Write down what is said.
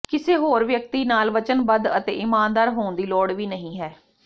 ਕਿਸੇ ਹੋਰ ਵਿਅਕਤੀ ਨਾਲ ਵਚਨਬੱਧ ਅਤੇ ਈਮਾਨਦਾਰ ਹੋਣ ਦੀ ਲੋੜ ਵੀ ਨਹੀਂ ਹੈ